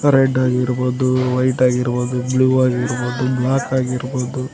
red ಆಗಿರ್ಬೋದು white ಆಗಿರ್ಬೋದು blue ಆಗಿರ್ಬೋದು ಬ್ಲಾಕ್ ಆಗಿರ್ಬೋದು--